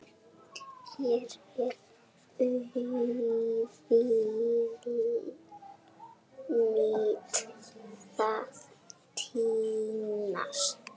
Hér er auðvelt að týnast.